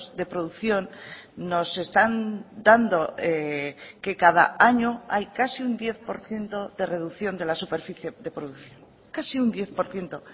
de producción nos están dando que cada año hay casi un diez por ciento de reducción de la superficie de producción casi un diez por ciento